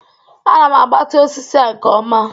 Ana m agbatị osisi a nke ọma